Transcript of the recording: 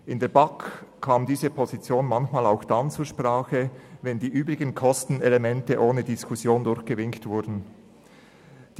In der BaK kam diese Position manchmal auch dann zur Sprache, wenn die übrigen Kostenelemente ohne Diskussion durchgewinkt worden waren.